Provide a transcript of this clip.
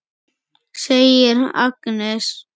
segir Agnes.